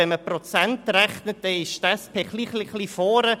Wenn man mit Prozenten rechnet, so liegt die SP ein klein wenig vorne.